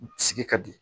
Sigi ka di